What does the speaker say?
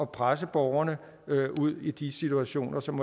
presse borgerne ud i de situationer som